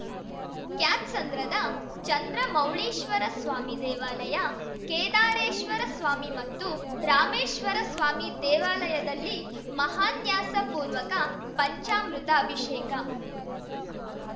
ಕ್ಯಾತ್ಸಂದ್ರದ ಚಂದ್ರಮೌಳೀಶ್ವರಸ್ವಾಮಿ ದೇವಾಲಯ ಕೇದಾರೇಶ್ವರಸ್ವಾಮಿ ಮತ್ತು ರಾಮೇಶ್ವರಸ್ವಾಮಿ ದೇವಾಲಯದಲ್ಲಿ ಮಹಾನ್ಯಾಸಪೂರ್ವಕ ಪಂಚಾಮೃತ ಅಭಿಷೇಕ